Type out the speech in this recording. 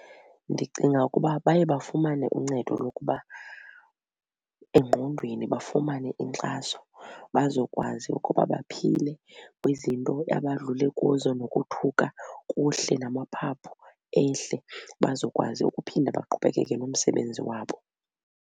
Ndicinga ukuba baye bafumane uncedo lokuba engqondweni bafumane inkxaso bazokwazi ukuba baphile kwizinto abadlule kuzo nokothuka kuhle namaphaphu ehle bazokwazi ukuphinda baqhubekeke nomsebenzi wabo.